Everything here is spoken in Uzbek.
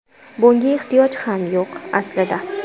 Bunga ehtiyoj ham yo‘q, aslida.